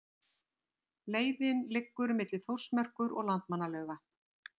Leiðin liggur milli Þórsmerkur og Landmannalauga.